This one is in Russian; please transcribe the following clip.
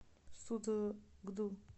судогду